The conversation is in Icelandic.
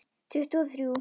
Tuttugu og þrjú!